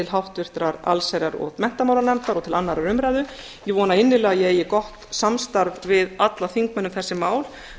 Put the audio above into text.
háttvirtrar allsherjar og menntamálanefndar og til annarrar umræðu ég vona innilega að ég eigi gott samstarf við alla þingmenn um þessi mál